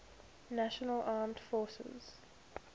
national armed forces